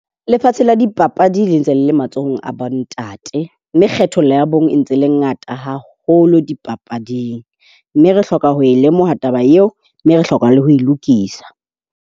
Lefatshe la dipapadi le ntse le matsohong a bontate. Mme kgethollo ya bong e ntse e le ngata haholo dipapading. Mme re hloka ho lemoha taba eo. Mme re hloka le ho e lokisa.